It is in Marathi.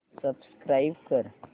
सबस्क्राईब कर